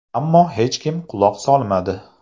Ammo hech kim quloq solmadi.